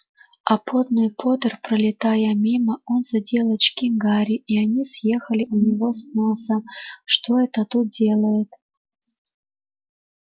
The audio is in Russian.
а потный поттер пролетая мимо он задел очки гарри и они съехали у него с носа что это он тут делает